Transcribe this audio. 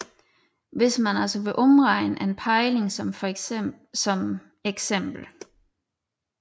Hvis man altså vil omregne en pejling som for eks